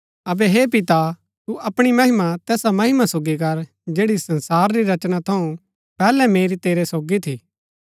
अबै हे पिता तू अपणी महिमा तैसा महिमा सोगी कर जैड़ी संसार री रचना थऊँ पैहलै मेरी तेरै सोगी थी